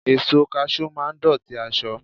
Èso Kaṣú máa dọ̀tí aṣọ..